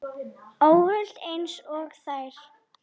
Óhult einsog þær.